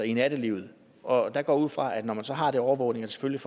i nattelivet og jeg går ud fra at det når man så har den overvågning selvfølgelig